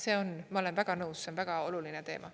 See on, ma olen väga nõus, see on väga oluline teema.